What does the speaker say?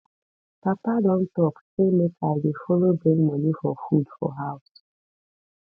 papa don talk sey make i dey folo bring money for food for house